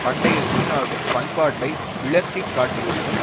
பண்டைய சீனாவின் பண்பாட்டை விளக்கி காட்டுவதிலும்